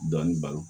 Dɔɔnin balo